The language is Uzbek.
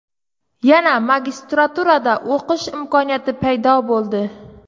Yana magistraturada o‘qish imkoniyati paydo bo‘ldi.